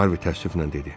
Harvi təəssüflə dedi: